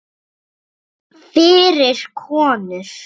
Fyrir konur.